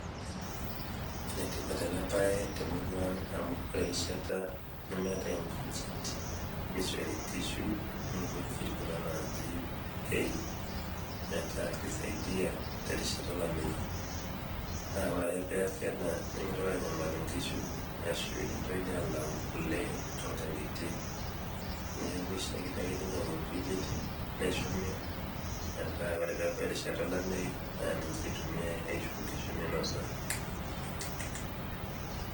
Enetipat ena baye temurua ang' amu ore erishata nemetai inkujit neishori inkishu nkujit kuna naaji hay metaa keisaidia terishata olameyu. Naa ore ake peeasi ena nemeitoki anyamalu nkishu ashu nemeitokini alau kole tonkang'itie. Neaku eishakino ake neinyang'i nkujit neshumi meta ore peebau erishata olameyu naa ninche eitumiai aisho nkishu meinosa.